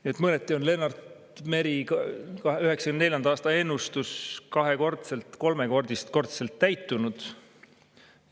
Nii et mõneti on Lennart Meri 1994. aasta ennustus kahekordselt või kolmekordselt täitunud.